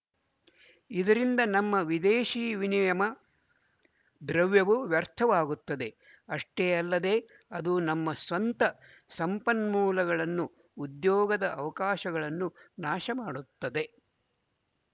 ಇದರಿಂದ ನಮ್ಮ ವಿದೇಶಿ ವಿನಿಯಮ ದ್ರವ್ಯವು ವ್ಯರ್ಥವಾಗುತ್ತದೆ ಅಷ್ಟೇ ಅಲ್ಲದೆ ಅದು ನಮ್ಮ ಸ್ವಂತ ಸಂಪನ್ಮೂಲಗಳನ್ನು ಉದ್ಯೋಗದ ಅವಕಾಶಗಳನ್ನು ನಾಶಮಾಡುತ್ತದೆ